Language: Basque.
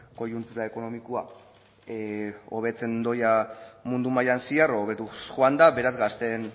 koiuntura ekonomikoa hobetzen doa mundu mailan zehar hobetuz joan da beraz gazteen